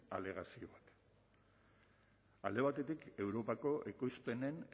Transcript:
alegazio alde batetik europako ekoizpenen